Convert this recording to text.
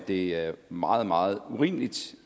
det er meget meget urimeligt